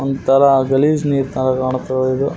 ಒಂತರ ಗಲೀಜ್ ನೀರ್ ತರ ಕಾಣ್ಕತ್ತದೆ ಇದು .